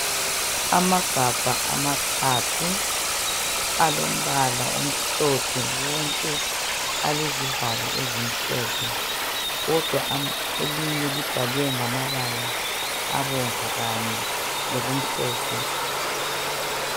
Amagabha amathathu alombala omhlophe wonke alezivalo ezimhlophe kodwa elinye libhalwe ngamabala abomvu kanye lokumhlophe.